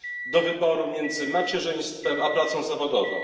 do wyboru między macierzyństwem a pracą zawodową.